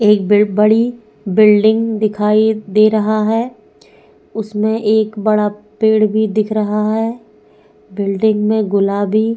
एक ब बड़ी बिल्डिंग दिखाई दे रहा है उसमे एक बड़ा पेड़ भि दिखाई दे रहा है बिल्डिंग में गुलाबी --